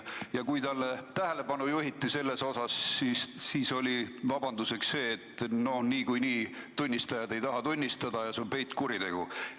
Ja kui tema tähelepanu sellele juhiti, siis oli vabanduseks see, et niikuinii tunnistajad ei taha tunnistada ja see on peitkuritegu.